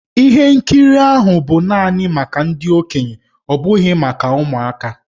Ihe nkiri ahụ bụ naanị maka ndị okenye ọ bụghị maka ụmụaka.